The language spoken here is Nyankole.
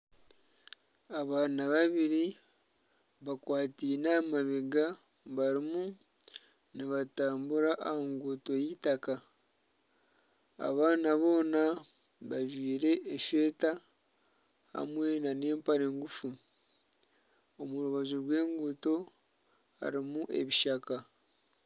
Abaana babiri bakwataine aha mabega barimu nibatambura aha nguuto y'eitaka abaana boona bajwaire esweeta hamwe nana empare ngufu omu rubaju rw'enguuto harimu ebishaka